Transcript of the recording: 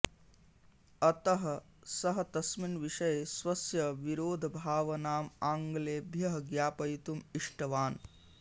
अतः सः तस्मिन् विषये स्वस्य विरोधभावनाम् आङ्ग्लेभ्यः ज्ञापयितुम् इष्टवान्